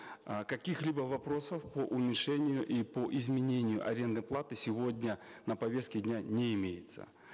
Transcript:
э каких либо вопросов по уменьшению и по изменению арендной платы сегодня на повестке дня не имеется